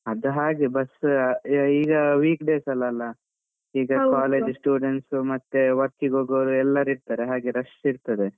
ಅದು ಹಾಗೆ bus ಈಗ week days ಎಲ್ಲ ಅಲ್ಲ ಈಗ college students ಮತ್ತೆ work ಗೆ ಹೋಗುವವರು ಎಲ್ಲರ್ಇರ್ತಾರೆ, ಹಾಗೆ rush ಇರ್ತದೆ.